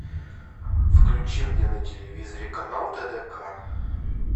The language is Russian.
включи мне на телевизоре канал тдк